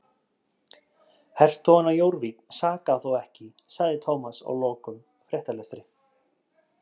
Hertogann af Jórvík sakaði þó ekki sagði Thomas að loknum fréttalestri.